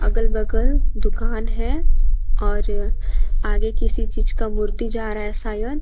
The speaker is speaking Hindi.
अगल बगल दुकान है और आगे किसी चीज का मूर्ति जा रहा है शायद।